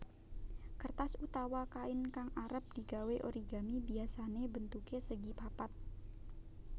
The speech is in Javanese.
Kertas utawa kain kang arep digawé origami biyasane bentuke segipapat